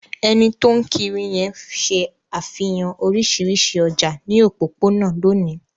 Ẹni tó ń kiri náà ṣe àfihàn oríṣiríṣi ọjà ní òpópónà lónìí.